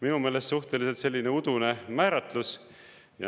Minu meelest suhteliselt udune määratlus.